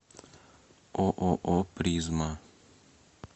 ооо призма